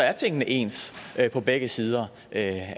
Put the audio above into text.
er tingene ens på begge sider af